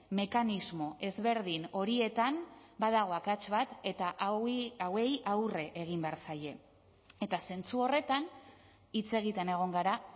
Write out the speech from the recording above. mekanismo ezberdin horietan badago akats bat eta hauei aurre egin behar zaie eta zentzu horretan hitz egiten egon gara